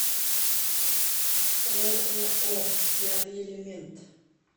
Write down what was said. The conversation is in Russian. ооо пятый элемент